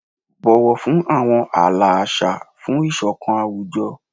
Bọwọ fun awọn aala aṣa fun isokan awujọ."